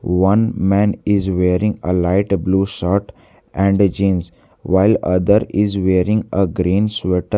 one man is wearing a light blue shirt and jeans while other is wearing a green sweater.